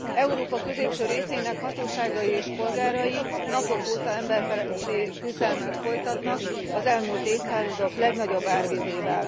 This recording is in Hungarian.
Európa középső részének hatóságai és polgárai napok óta emberfeletti küzdelmet folytatnak az elmúlt évszázadok legnagyobb árvizével.